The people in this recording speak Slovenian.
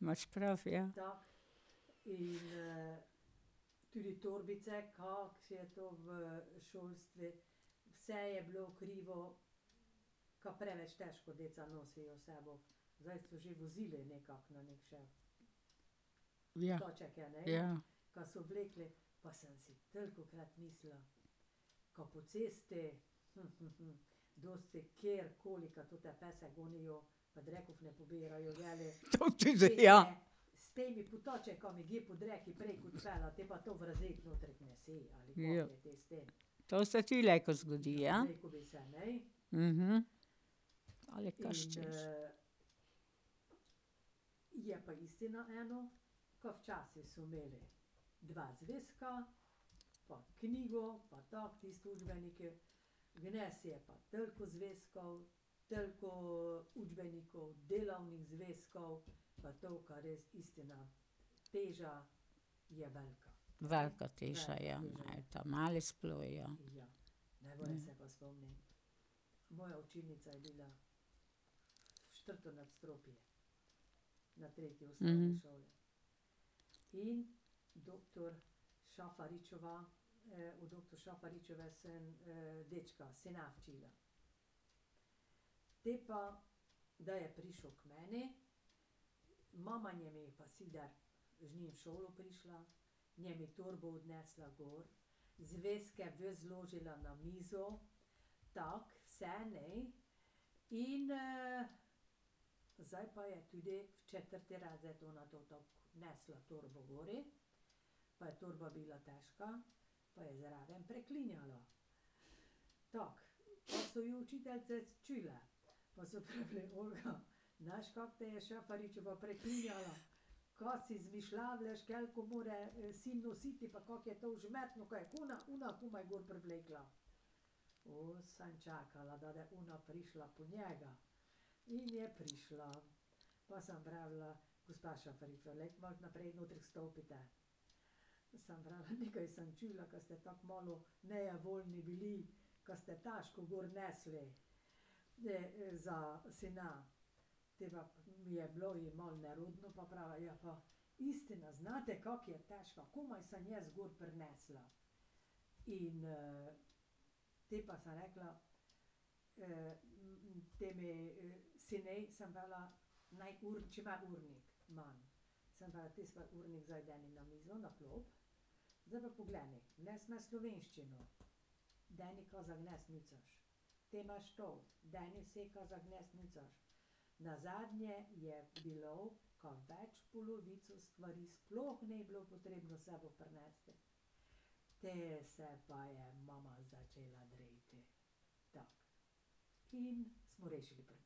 Imaš prav, ja. Ja, ja. , ja. Ja, to se ti lejko zgodi, ja. Ali kaj češ .. Velika imajo ta mali sploh, ja.